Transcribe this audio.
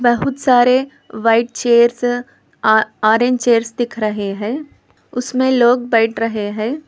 बहुत सारे white chairs orange chairs दिख रहे हैं उसमें लोग बैठ रहे हैं।